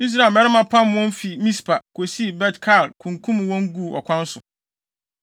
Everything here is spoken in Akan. Israel mmarima pam wɔn fi Mispa, kosii Bet-Kar, kunkum wɔn guu ɔkwan so.